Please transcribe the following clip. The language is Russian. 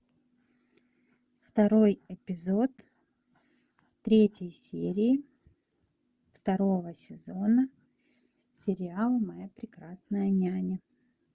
второй эпизод третьей серии второго сезона сериала моя прекрасная няня